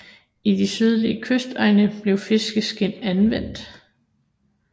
I de sydlige kystegne blev fiskeskind anvendt